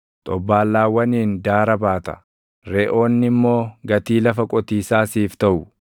xobbaallaawwaniin daara baata; reʼoonni immoo gatii lafa qotiisaa siif taʼu.